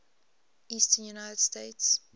eastern united states